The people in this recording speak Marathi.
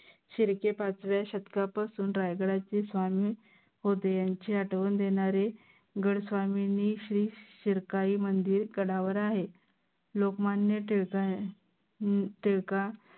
शिर्के पाचव्या शतकापासून रायगडाचे स्वामी होते. यांची आठवण देनारे गड स्वामींनी श्री शिरकाई मंदिर गडावर आहे लोकमान्य टिळका टिळका